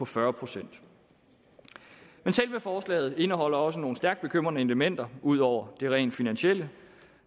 fyrre procent men selve forslaget indeholder også nogle stærkt bekymrende elementer ud over det rent finansielle